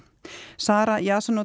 Sara